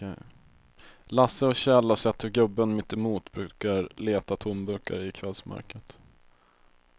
Lasse och Kjell har sett hur gubben mittemot brukar leta tomburkar i kvällsmörkret.